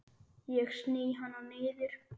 Ég sný hana niður.